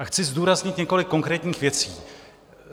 A chci zdůraznit několik konkrétních věcí.